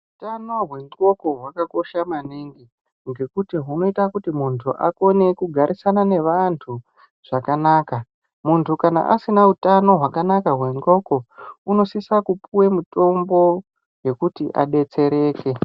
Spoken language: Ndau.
Ukama wendxoko wakakosha maningi ngokuti unoita kuti muntu agarisane nevantu zvakanaka, muntu kana asina utano wakanak wendxoko unosisa kupuwe mitombo yekuti abetsereke.